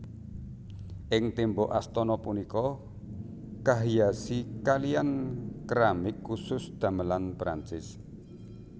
Ing tembok astana punika kahiasi kaliyan keramik khusus damelan Perancis